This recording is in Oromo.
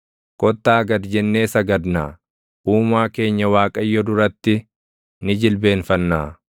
Kottaa gad jennee sagadnaa; Uumaa keenya Waaqayyo duratti ni jilbeenfannaa;